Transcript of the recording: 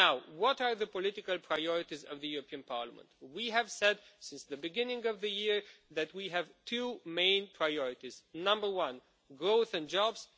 What are the political priorities of the European Parliament? We have said since the beginning of the year that we have two main priorities firstly, growth and jobs